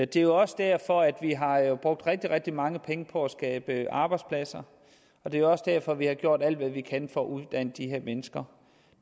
det er også derfor at vi har brugt rigtig rigtig mange penge på at skabe arbejdspladser og det er jo også derfor at vi har gjort alt hvad vi kan for at uddanne de her mennesker